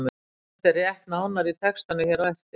Þetta er rætt nánar í textanum hér á eftir.